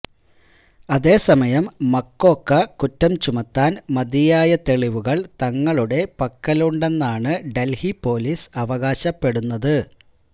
അതേസമയം മക്കോക്ക കുറ്റം ചുമത്താന് മതിയായ തെളിവുകള് തങ്ങളുടെ പക്കലുണ്ടെന്നാണ് ഡല്ഹി പോലീസ് അവകാശപ്പെടുന്നത്